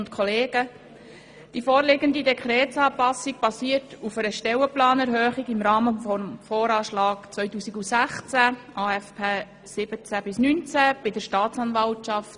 Die vorliegende Dekretsanpassung basiert auf einer Stellenplanerhöhung bei der Staatsanwaltschaft im Rahmen des Voranschlags 2016 und des Aufgaben-/Finanzplans 2017–2019.